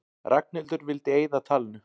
Ragnhildur vildi eyða talinu.